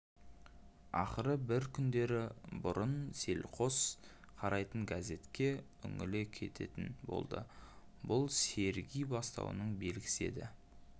ақыры бір күндері бұрын селқос қарайтын газетке үңіле кететін болды бұл серги бастауының белгісі еді